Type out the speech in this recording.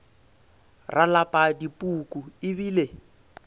ra lapa dipuku e bile